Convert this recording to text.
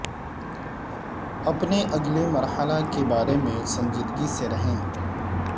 اپنے اگلے مرحلے کے بارے میں سنجیدگی سے رہیں